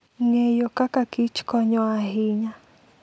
Ng'eyo kaka kich konyo ahinya.